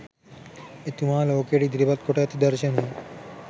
එතුමා ලෝකයට ඉදිරිපත් කොට ඇති දර්ශනය.